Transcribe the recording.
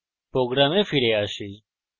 আমাদের program ফিরে আসি